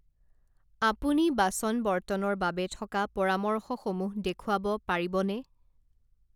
আপুনি বাচন বৰ্তনৰ বাবে থকা পৰামৰ্শসমূহ দেখুৱাব পাৰিবনে?